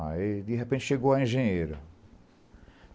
Aí, de repente, chegou a engenheira.